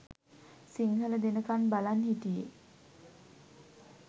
සිංහල දෙනකන් බලන් හිටියේ